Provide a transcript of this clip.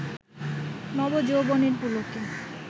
নব যৌবনের পুলকে